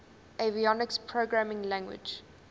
avionics programming language